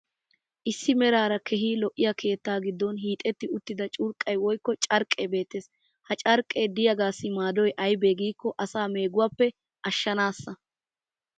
issi meraara keehi lo'iyaa keettaa giddon hiixetti uttida curqqay woykko carqqee beetees. ha carqqee diyaagassi maaddoy aybee giikko asaa meeguwaappe ashshanaassa.